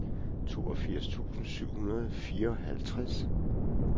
toogfirs tusind syv hundrede og fireoghalvtreds